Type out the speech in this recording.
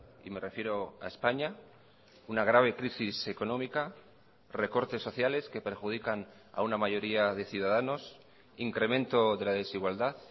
y me refiero a españa una grave crisis económica recortes sociales que perjudican a una mayoría de ciudadanos incremento de la desigualdad